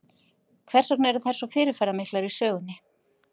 Hvers vegna eru þær svo fyrirferðamiklar í sögunni?